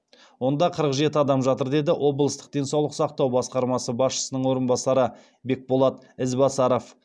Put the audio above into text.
онда қырық жеті адам жатыр деді облыстық денсаулық сақтау басқармасы басшысының орынбасары бекболат ізбасаров